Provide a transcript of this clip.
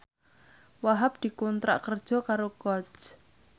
Wahhab dikontrak kerja karo Coach